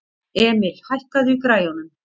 Emil, hækkaðu í græjunum.